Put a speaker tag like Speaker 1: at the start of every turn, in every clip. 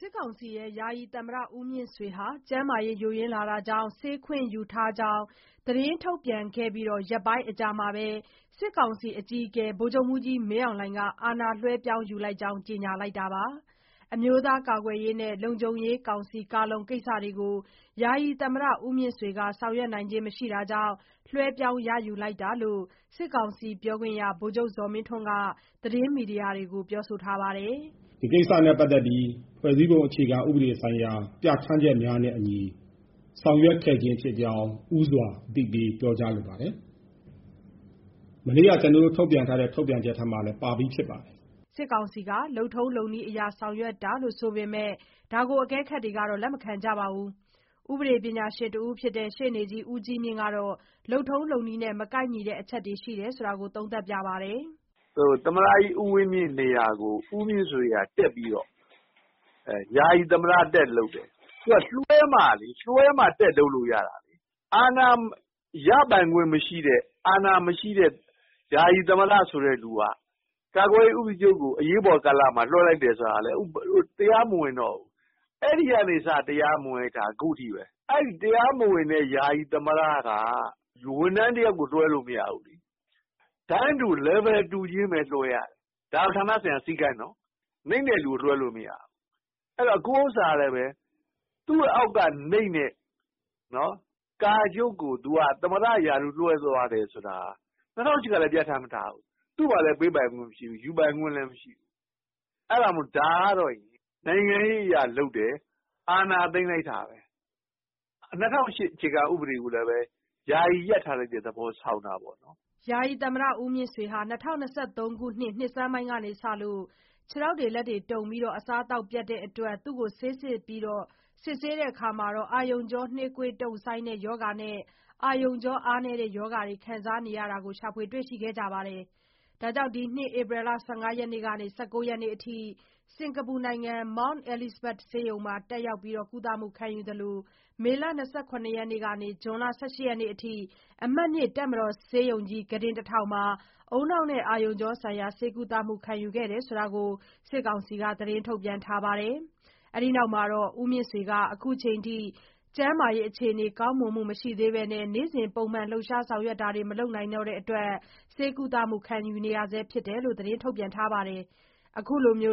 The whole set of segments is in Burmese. Speaker 1: စစ်ကောင်စီ ယာယီသမ္မတ ဦးမြင့်ဆွေဟာ ကျန်းမာရေး ယိုယွင်းလာတာကြောင့် ဆေးခွင့်ယူထားကြောင်း သတင်းထုတ်ပြန်ခဲ့ပြီး ရက်ပိုင်းအကြာမှာပဲ စစ်ကောင်စီ အကြီးအကဲက အာဏာလွှဲပြောင်း ယူလိုက်ကြောင်း ကြေညာလိုက်တာပါ။ အမျိုးသားကာကွယ်ရေးနဲ့ လုံခြုံရေးကောင်စီ ကိစ္စတွေကို ယာယီသမ္မတက ဆောင်ရွက်နိုင်ခြင်းမရှိတာကြောင့် လွှဲပြောင်းယူရတာလို့လည်း စစ်ကောင်စီ ပြောခွင့်ရ ဗိုလ်ချုပ်ဇော်မင်းထွန်း က သတင်းမီဒီယာတွေကို ပြောလိုက်ပါတယ်။
Speaker 2: "ဒီကိစ္စနဲ့ပတ်သတ်ပြီး ဖွဲ့စည်းပုံအခြေခံဥပဒေဆိုင်ရာပြဋ္ဌာန်းချက်များနဲ့အညီ ဆောင်ရွက်ခဲ့ခြင်းဖြစ်ကြောင်းဦးစွာအသိပေးပြောကြားလိုပါတယ်။ မနေ့ကထုတ်ပြန်ချက်ထဲမှာလည်းပါပြီးဖြစ်ပါတယ်။
Speaker 1: " စစ်ကောင်စီက လုပ်ထုံးလုပ်နည်းအရ ဆောင်ရွက်တာလို့ ဆိုပေမဲ့ အကဲခတ်တွေကတော့ လက်မခံကြပါဘူး။ ဥပဒေကျွမ်းကျင်ပညာရှင်တဦးဖြစ်တဲ့ရှေ့နေ ဦးကြီးမြင့် ကတော့ လုပ်ထုံးလုပ်နည်းနဲ့ မကိုက်ညီတဲ့ အချက်တွေ ရှိတယ်လို့ သုံးသပ်ပါတယ်။
Speaker 3: "သမ္မတကြီးဦးဝင်းမြင့်နေရာကို ဦးမြင့်ဆွေကတက်ပြီးတော့ ယာယီသမ္မတတက်လုပ်တယ်။ လွှဲမှတက် လုပ်လို့ရမှာလေ။ အာဏာရပိုင်ခွင့်မရှိတဲ့ အာဏာမရှိတဲ့ ယာယီသမ္မတဆိုတဲ့သူက ကာကွယ်ရေးဦးစီးချုပ်ကို အရေးပေါ်ကာလလွှဲတယ်ဆိုတာက တရားမဝင်တော့ဘူး။ အဲဒီကနေစ တရားမဝင်တာ ခုထိဘဲ။ နောက် တရားမဝင်တဲ့ ယာယီသမ္မတက ဝန်ထမ်းတယောက်ကိုအာဏာလွှဲမရဘူး။ တန်းတူ လယ်ဗယ် တူချင်းဘဲလွှဲရတယ်။ ဒါဌာနဆိုင်ရာစည်းကမ်းနော် နိမ့်တဲ့သူလွှဲမရဘူး ခုဥစ္စာကလည်း သူအောက်ကနိမ့်တဲ့ ကာချုပ်ကိုသမ္မတရာထူးလွှဲတယ်ဆိုတာက ၂၀၀၈ကလည်းပြဌာန်းမထားဘူး။ သူ့မှာပေးခွင့်လည်း မရှိဘူး ယူပိုင်ခွင့်လည်းမရှိဘူး။ ဒါကနိုင်ငံရေးအရလုပ်တယ်။ အာဏာသိမ်းတဲ့သဘောဘဲ ၂၀၀၈ဖွဲ့စည်း ပုံကိုယာယီရပ်ထားတဲ့သဘောဆောင်တာပေါ့
Speaker 1: " ဦးမြင့်ဆွေဟာ ၂၀၂၃ နှစ်ဆန်းပိုင်းကစပြီး ခြေလက်တုန်ပြီး အစားအသောက်ပျက်တဲ့ အတွက် ဆေးစစ်ရာမှာ အာရုံကြော နှေးကွေးတုံ့ဆိုင်းတဲ့ ရောဂါနဲ့ အာရုံကြောအားနည်းတဲ့ ရောဂါတွေ ခံစားနေရတာကို တွေ့ရကြောင်းနဲ့ ဒီနှစ် ဧပြီ ၁၅ ကနေ ၁၉ ရက်နေ့ အထိ စင်္ကာပူနိုင်ငံ Mount Elizabeth ဆေးရုံနဲ့ မေလ ၂၇ ရက်နေ့မှ ဇွန် ၁၈ ရက်နေ့အထိ အမှတ် ၂ တပ်မတော်ဆေးရုံကြီး ကုတင် ၁၀၀၀ မှာ ဦးနှောက်နဲ့အာရုံကြော ဆိုင်ရာ ဆေးကုသမှုခံယူခဲ့ရတယ်လို့ စစ်ကောင်စီက သတင်းထုတ်ပြန်ထားပါတယ်။ ဦးမြင့်ဆွေဟာ အခုချိန်အထိ ကျန်းမာရေးအခြေနေ ကောင်းမွန်မှု မရှိသေးပဲ နေ့စဉ်လှုပ်ရှားဆောင် ရွက်မှုတွေ မလုပ်နိုင်တဲ့ အတွက် ဆေးကုသမှုခံယူနေရဆဲလို့လည်း ပြောပါတယ်။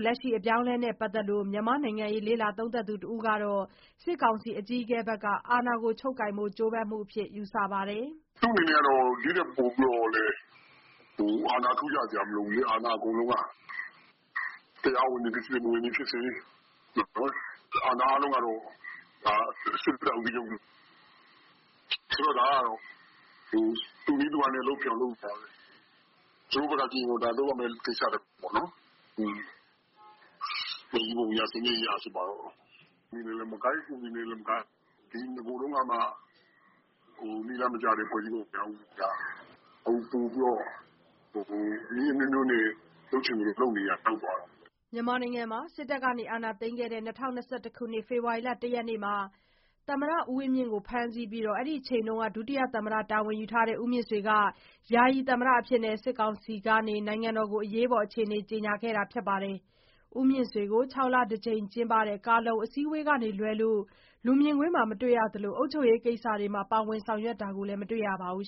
Speaker 1: လက်ရှိအပြောင်းအလဲနဲ့ပတ်သတ်လို့ မြန်မာ့နိုင်ငံရေးလေ့လာသုံးသပ်သူတဦးကတော့ စစ်ကောင်စီ အကြီးအကဲရဲ့ အာဏာကို ချုပ်ကိုင်ဖို့ ကြိုးပမ်းမှုအဖြစ် ယူဆပါတယ်။
Speaker 2: "သူ့အနေနဲ့ ဒီထပ်ပိုပြီးတော့လည်း အာဏာအထူးရစရာမလိုဘူးလေအာဏာအကုန်လုံးက တရားဝင်တယ်ဖြစ်စေ မဝင်သည်ဖြစ်စေ အာဏာအားလုံးကတော့စစ်တပ်ကာကွယ်ရေးဦးစီးချုပ်လက်ထဲမှာဘဲ။ ဒါကသူ့နည်းသူ့ဟန်နဲ့လုပ်တဲ့သဘောပါဘဲ။ သူတို့ဘက်ကကြည့်ရင်ဒါလုပ်ရမယ့်ကိစ္စပေါ့။ ဖွဲ့စည်းပုံအရ ဆိုပါတော့ နည်းလမ်းနဲ့လည်းမကိုက်ဥပဒေနဲ့လည်းမကိုက် နဂိုထဲကမှနည်းလမ်းမကျတဲ့ဖွဲ့စည်းပုံက ခုက နည်းအမျိုးမျိုးနဲ့လုပ်ချင်သလိုလုပ်တဲ့သဘောရောက်သွားတာပေါ့ "
Speaker 1: မြန်မာနိုင်ငံမှာ စစ်တပ်အာဏာသိမ်းခဲ့တဲ့ ၂၀၂၁ ဖေဖေါ်ဝါရီလ ၁ ရက်နေ့မှာ သမ္မတဦးဝင်းမြင့်ကို ဖမ်းဆီးပြီး အဲဒီအချိန်က ဒုသမ္မတတာဝန် ယူထားတဲ့ ဦးမြင့်ဆွေက ယာယီ သမ္မတအဖြစ်နဲ့ စစ်ကောင်စီက နိုင်ငံတော်ကို အရေးပေါ်အခြေနေ ကြေညာခဲ့တာ ဖြစ်ပါတယ်။ ဦးမြင့်ဆွေကို ၆ လတကြိမ် ကျင်းပတဲ့ ကာ/လုံအစည်းဝေးက လွဲလို့ လူမြင်ကွင်းမှာ မတွေ့ရသလို အုပ်ချုပ်ရေး ကိစ္စတွေမှာ ပါဝင်တာလည်း မတွေ့ရပါဘူး